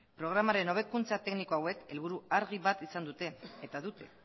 programaren hobekuntza tekniko hauek helburu argi bat izan dute